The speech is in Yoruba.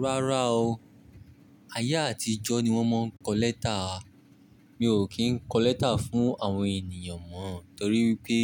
Rárá o, ayé àtijọ́ ni wọ́n máa ń kọ lẹ́tà. Mi ò kí ń kọ lẹ́tà fún àwọn ènìyàn mọ́, torí pé